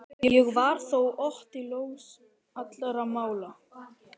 Og var þó Otti laus allra mála.